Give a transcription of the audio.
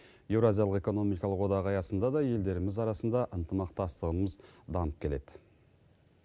еуразиялық экономикалық одақ аясында да елдеріміз арасында ынтымақтастығымыз дамып келеді